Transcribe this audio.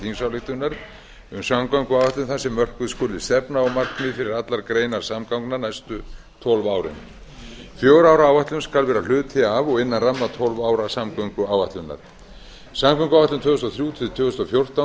þingsályktunar um samgönguáætlun þar sem þar sem mörkuð skuli stefna og markmið fyrir allar greinar samgangna næstu tólf árin fjögurra ára áætlun skal vera hluti af og innan ramma tólf ára samgönguáætlunar samgönguáætlun tvö þúsund og þrjú til tvö þúsund og fjórtán